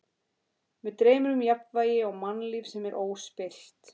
Mig dreymir um jafnvægi og mannlíf sem er óspillt.